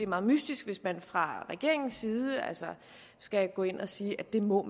meget mystisk hvis man fra regeringens side skal gå ind og sige at det må